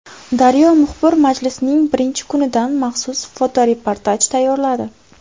Daryo muxbiri majlisning birinchi kunidan maxsus fotoreportaj tayyorladi.